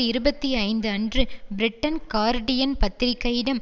இருபத்தி ஐந்து அன்று பிரிட்டன் கார்டியன் பத்திரிகையிடம்